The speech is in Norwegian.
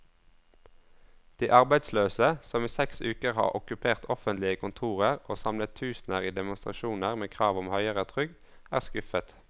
De arbeidsløse, som i seks uker har okkupert offentlige kontorer og samlet tusener i demonstrasjoner med krav om høyere trygd, er skuffet.